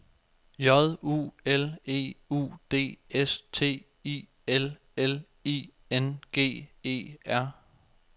J U L E U D S T I L L I N G E R